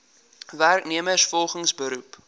werknemers volgens beroep